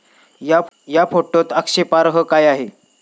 या फोटोत आक्षेपार्ह काय आहे?